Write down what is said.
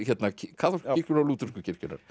kaþólsku kirkjunnar og lúthersku kirkjunnar